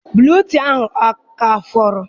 Buletịịnụ ahụ aka fọrọ?